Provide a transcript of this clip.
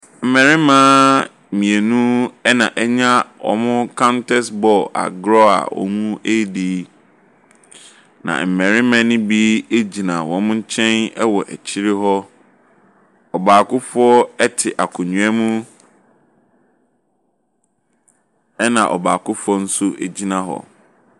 Mmarimma mmienu ɛna ɛnya wɔ mo counters bɔɔl agorɔ a wɔredi. Na mmarima no bi egyina wɔn kyɛn ɛwɔ akyire hɔ. Ɔbaakofoɔ ete akonwa mu ɛna ɔbaakofoɔ ɛnso egyina hɔ.